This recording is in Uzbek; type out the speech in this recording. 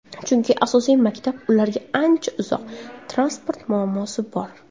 Chunki asosiy maktab ularga ancha uzoq, transport muammosi bor.